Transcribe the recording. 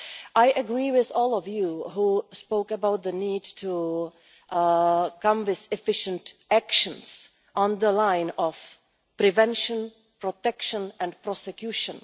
I agree with all of you who spoke about the need to come forward with efficient actions along the lines of prevention, protection and prosecution.